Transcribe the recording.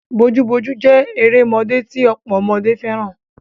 Bojúbojú jé erémodé ti ọ̀pọ̀ ọmọdé fẹ́ràn.